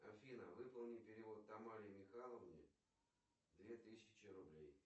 афина выполни перевод тамаре михайловне две тысячи рублей